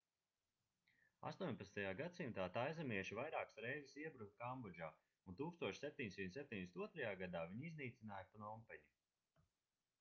18. gadsimtā taizemieši vairākas reizes iebruka kambodžā un 1772. gadā viņi iznīcināja pnompeņu